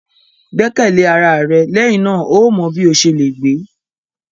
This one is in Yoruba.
Gbẹkẹle ara rẹ, lẹhinna o yóò mọ bi o ṣe le gbe!